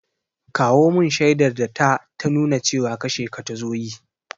Kawo mun shaidar ta ta nuna cewa kashe ka ta so yi!